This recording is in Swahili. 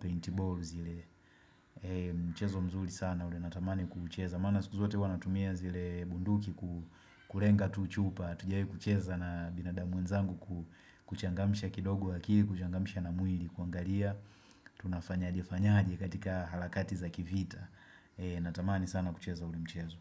paintball zile Mchezo mzuri sana ule natamani kuucheza Maana siku zote wanatumia zile bunduki kurenga tu chupa hatujai kucheza na binadamu mwenzangu kuchangamsha kidogo akili kuchangamsha na mwili kuangalia Tunafanyaje fanyaje katika halakati za kivita Natamani sana kucheza ule mchezo.